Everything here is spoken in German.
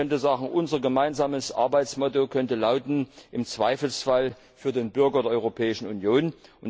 Man könnte sagen, unser gemeinsames Arbeitsmotto könnte lauten Im Zweifelsfall für den Bürger der Europäischen Union.